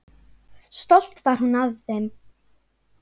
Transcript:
Stolt var hún af þeim.